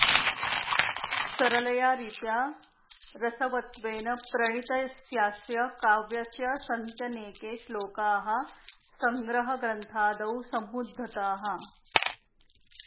सरलया रीत्या रसवत्वेन प्रणीतस्यास्य काव्यस्य सन्त्यनेके श्लोकाः सङ्ग्रहग्रन्थादौ समुद्धताः